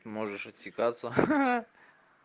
можешь отсекаться ха-ха